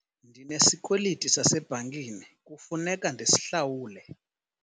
Ndinesikweliti sasebhankini kufuneka ndisihlawule.